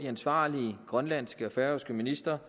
ansvarlige grønlandske og færøske ministre